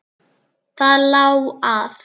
Það lá að.